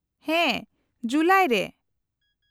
-ᱦᱮᱸ, ᱡᱩᱞᱟᱭ ᱨᱮ ᱾